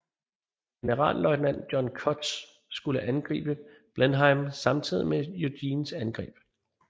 Generalløjtnant John Cutts skulle angribe Blenheim samtidig med Eugens angreb